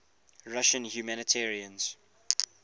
russian humanitarians